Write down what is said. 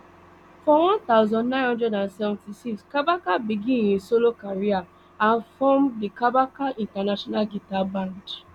for one thousand, nine hundred and seventy-six kabaka begin im solo career and form the kabaka international guitar band